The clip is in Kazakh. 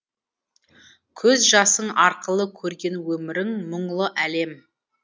көз жасың арқылы көрген өмірің мұңлы әлем